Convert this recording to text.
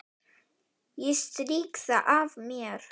Ég strýk það af mér.